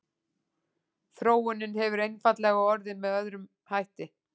Þróunin hefur einfaldlega orðið með öðrum hætti.